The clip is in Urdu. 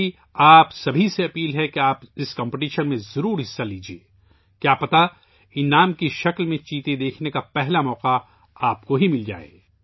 میری آپ سبھی سے اپیل ہے کہ آپ اس مقابلے میں ضرور شرکت کریں کیا پتہ انعام کے طور پر چیتے دیکھنے کا پہلا موقع آپ کو ہی مل جائے !